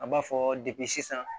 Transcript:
An b'a fɔ debi sisan